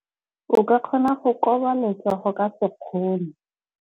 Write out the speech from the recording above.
O ka kgona go koba letsogo ka sekgono.